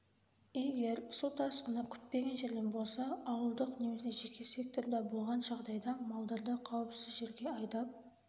егер су тасқыны күтпеген жерден болса ауылдық немесе жеке секторда болған жағдайда малдарды қауіпсіз жерге айдап